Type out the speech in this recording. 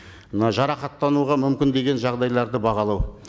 мынау жарақаттануға мүмкін деген жағдайларды бағалау